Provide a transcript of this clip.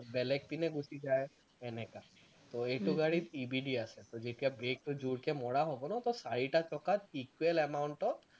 বেলেগ পিনে গুচি যায় তেনেকুৱা, তো এইটো গাড়ীত EBD আছে, যেতিয়া brake টো যোৰসে মৰা হব ন তো চাৰিটা চকা equal amount ত